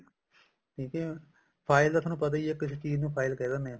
ਠੀਕ ਹੈ file ਦਾ ਤੁਹਾਨੂੰ ਪਤਾ ਈ ਹੈ ਕਿਸੇ ਵੀ ਚੀਜ਼ ਨੂੰ file ਕਹਿ ਦਿੰਨੇ ਹਾਂ